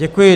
Děkuji.